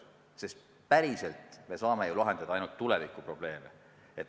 Sest päriselt me saame ju lahendada ainult tulevikuprobleeme.